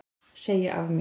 Segja af mér